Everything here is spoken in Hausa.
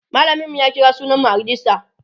mallamin mu ya kira sunan mu a rejista